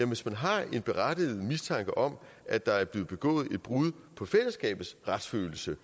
hvis man har en berettiget mistanke om at der er blevet begået et brud på fællesskabets retsfølelse